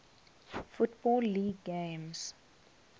football league games